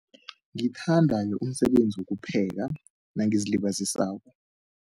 Ngithanda umsebenzi wokupheka nangizilibazisako.